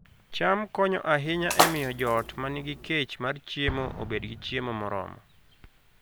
cham konyo ahinya e miyo joot ma nigi kech mar chiemo obed gi chiemo moromo